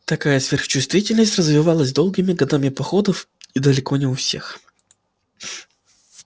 такая сверхчувствительность развивалась долгими годами походов и далеко не у всех